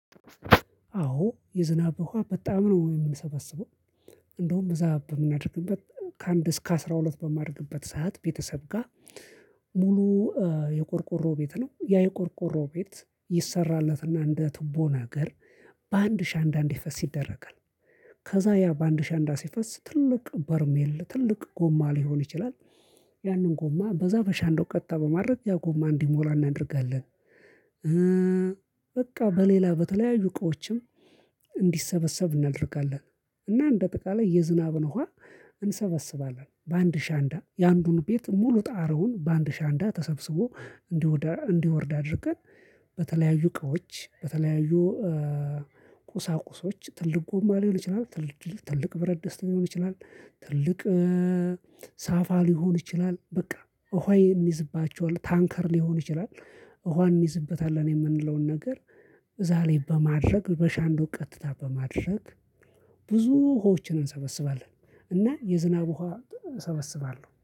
አዎ፣ የዝናብ ውሃ በጣም ነው የምንሰበስበው እንደውም እዛ በምናደርግበት ከአንድ እስከ አስራ ሁለት በማድግበት ሰዓት ቤተሰብ ጋር ሙሉ የቆርቆሮ ቤት ነው ያ የቆርቆሮ ቤት ይሰራለትና እንደ ቱቦ ነገር በአንድ አሸንዳ እዲፈስ ይደረጋል። ከዛ ያ በአንድ አሸንዳ ሲፈስ ትልቅ በርሜል ትልቅ ጎማ ሊሆን ይችላል ያንን ጎማ በዛ ባሸንዳው ቀጥታ በማድረግ ያ ጎማ እንዲሞላ እናደርጋለን። በቃ በሌላ በተለያዩ እቃዎችም እንዲሰበሰብ እናደርጋለን። እና እንደ ጠቃላይ የዝናብ ውሃ እንሰበስባለን በአንድ አሸንዳ፣ የአንዱን ቤት ሙሉ ጣራውን በአንድ አሸንዳ ተሰብስቦ፣ እንደውዳ እንዲወርድ አድርገን በተለያዩ እቅቦች በተለያዩ ቁሳቁሶች ትልቅ ጎማ ሊሆን ይችላል ትልቅ ብረት ደስ ሊሆን ይችላል ትልቅ ሳፋ ሊሆን ይችላል፣ በቃ፣ ውሃ ይ እኒዝባቸዋል ታንከር ሊሆን ይችላል ውሃ እኒዝበታለን የምንለውን ነገር እዛ ላይ በማድረግ በአሸንዳው ቀጥታ በማድረግ ብዙ ውሃዎችን እንሰበስባለን እና የዝናብ ውሃ እሰበስባለሁ።